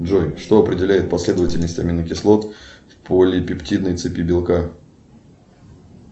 джой что определяет последовательность аминокислот в полипептидной цепи белка